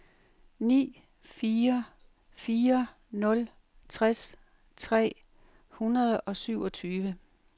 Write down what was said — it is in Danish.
ni fire fire nul tres tre hundrede og syvogtyve